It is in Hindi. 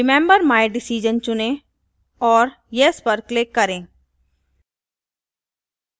remember my decision चुनें और yes पर क्लिक करें